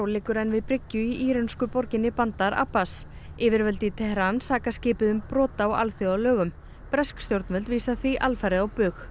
liggur enn við bryggju í írönsku borginni bandar Abbas yfirvöld í Teheran saka skipið um brot á alþjóðalögum bresk stjórnvöld vísa því alfarið á bug